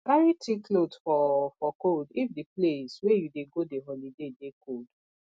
carry thick cloth for for cold if di place wey you dey go di holiday dey cold